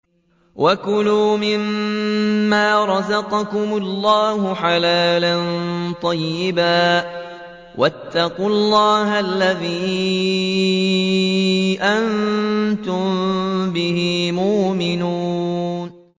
وَكُلُوا مِمَّا رَزَقَكُمُ اللَّهُ حَلَالًا طَيِّبًا ۚ وَاتَّقُوا اللَّهَ الَّذِي أَنتُم بِهِ مُؤْمِنُونَ